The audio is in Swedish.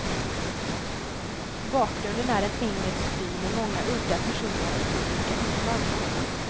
Bakgrunden är en engelsk by med många udda personer och komiska inslag.